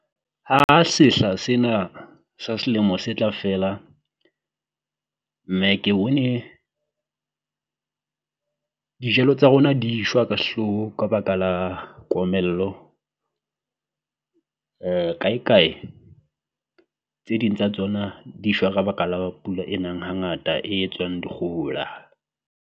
Ha sehla sena sa selemo se tla fela, mme ke bone dijalo tsa rona di shwa ka sehloho ka baka la komello, kae kae tse ding tsa tsona di shwa ka baka la pula e nang hangata e etswang dikgohola.